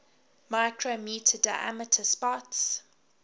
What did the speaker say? micrometre diameter spots